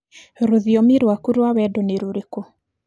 Rũthiomi rwaku rwa wendo nĩ rũrĩkũ?